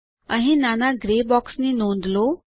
અહીં નાના grey box ની નોંધ લો